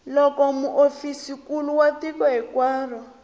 loko muofisirinkulu wa tiko hinkwaro